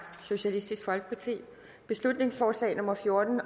beslutningsforslag nummer fjorten